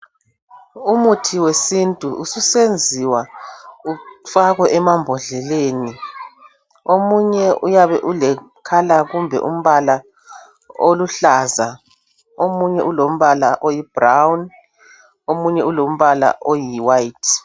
Umuthi wesintu usuyenziwa ufakwe emabhodleni omunye uyabe ulecolour kumbe umbala oluhlaza omunye ulombala oyibrown omunye olombala oyiwhite.